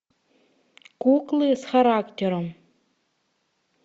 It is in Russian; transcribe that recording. куклы с характером